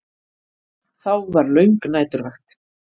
Þá var löng næturvakt.